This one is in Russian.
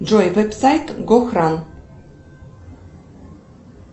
джой вебсайт гохран